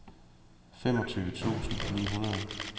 femogtyve tusind ni hundrede